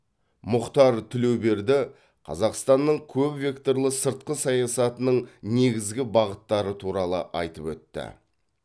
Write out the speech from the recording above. мұхтар тілеуберді қазақстанның көпвекторлы сыртқы саясатының негізгі бағыттары туралы айтып өтті